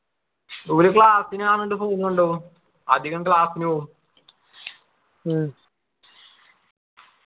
ഇവിടെ class നു ഞാൻ പണ്ട് phone കൊണ്ടോവും അധികം class നു പോവും